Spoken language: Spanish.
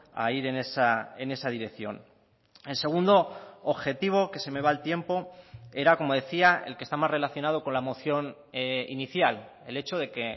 a ir en esa dirección el segundo objetivo que se me va el tiempo era como decía el que está más relacionado con la moción inicial el hecho de que